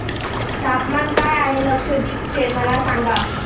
तापमान काय आहे लक्षद्वीप चे मला सांगा